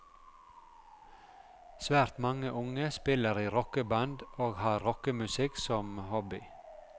Svært mange unge spiller i rockeband, og har rockemusikk som hobby.